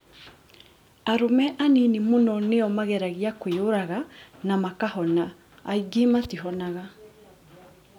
Arũme anini mũno nĩo mageragia kwĩyũraga na makahona, aingĩ matihonaga.